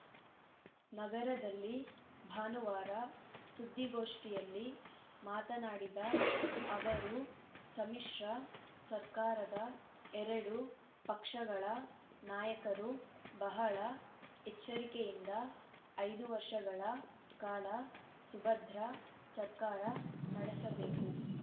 ನಗರದಲ್ಲಿ ಭಾನುವಾರ ಸುದ್ದಿಗೋಷ್ಠಿಯಲ್ಲಿ ಮಾತನಾಡಿದ ಅವರು ಸಮ್ಮಿಶ್ರ ಸರ್ಕಾರದ ಎರಡು ಪಕ್ಷಗಳ ನಾಯಕರು ಬಹಳ ಎಚ್ಚರಿಕೆಯಿಂದ ಐದು ವರ್ಷಗಳ ಕಾಲ ಸುಭದ್ರ ಸರ್ಕಾರ ನಡೆಸಬೇಕು